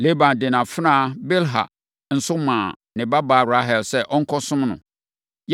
Laban de nʼafenawa Bilha nso maa ne babaa Rahel sɛ ɔnkɔsom no.